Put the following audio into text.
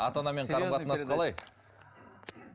ата анамен қарым қатынас қалай